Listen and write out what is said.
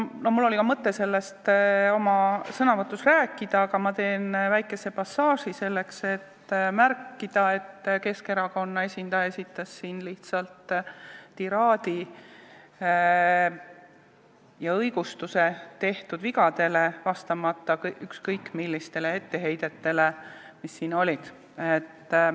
Mul oli mõte sellest oma sõnavõtus rääkida, aga ma teen väikesse passaaži, selleks et märkida, et Keskerakonna esindaja esitas siin lihtsalt tiraadi ja õigustas tehtud vigu, vastamata ükskõik millistele etteheidetele, mis siin on olnud.